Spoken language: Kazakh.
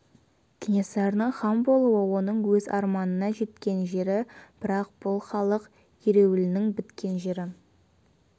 кенесарының хан болуы оның өз арманына жеткен жері бірақ бұл халық ереуілінің біткен жері